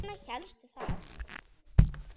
Og hvers vegna hélstu það?